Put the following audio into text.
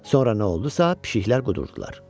Sonra nə oldusa, pişiklər qudurdular.